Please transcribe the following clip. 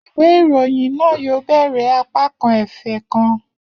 Iwe irohin naa yoo bẹrẹ apakan efe kan.